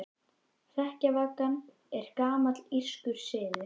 Hrekkjavaka er gamall írskur siður.